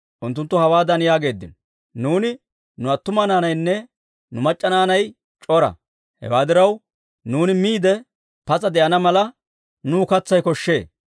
Unttunttu hawaadan yaageeddino; «Nuuni, nu attuma naanaynne nu mac'c'a naanay c'ora; hewaa diraw, nuuni miide pas'a de'ana mala, nuw katsay koshshee».